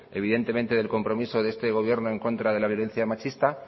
del compromiso de este gobierno en contra de la violencia machista